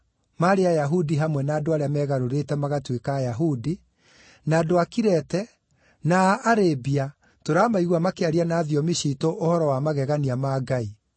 (Ayahudi hamwe na andũ arĩa meegarũrĩte magatuĩka Ayahudi); na andũ a Kirete, na a Arabia, tũramaigua makĩaria na thiomi ciitũ ũhoro wa magegania ma Ngai!”